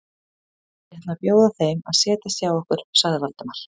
Ég ætla að bjóða þeim að setjast hjá okkur sagði Valdimar.